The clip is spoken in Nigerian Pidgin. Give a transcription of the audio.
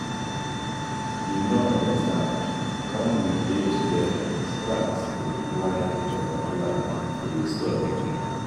you no understand. wen we dey together sparks dey fly butterfly dey disturb.